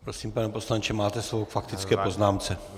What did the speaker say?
Prosím, pane poslanče, máte slovo k faktické poznámce.